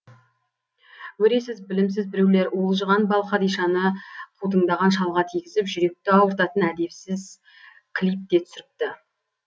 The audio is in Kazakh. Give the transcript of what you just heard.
өресіз білімсіз біреулер уылжыған балқадишаны қутыңдаған шалға тигізіп жүректі ауыртатын әдепсіз клип те түсіріпті